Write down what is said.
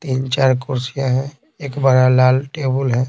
तीन चार कुर्सियां हैं एक बड़ा लाल टेबल है।